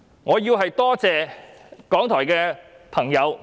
我要多謝港台的朋友。